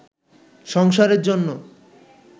সংসারের জন্য